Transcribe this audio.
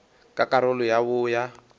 ka karolo ya bo ya